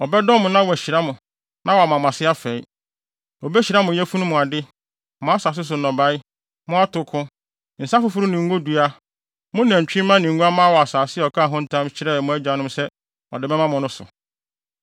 Ɔbɛdɔ mo na wahyira mo na wama mo ase afɛe. Obehyira mo yafunu mu ade; mo asase so nnɔbae, mo atoko, nsa foforo ne ngodua, mo nantwimma ne nguamma wɔ asase a ɔkaa ho ntam kyerɛɛ mo agyanom se ɔde bɛma mo no so.